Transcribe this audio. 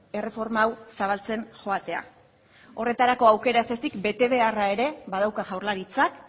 erreforma hau zabaltzen joatea horretarako aukera ez ezik betebeharra ere badauka jaurlaritzak